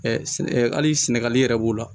Ɛ sɛn ɛ hali sɛnɛgali yɛrɛ b'o la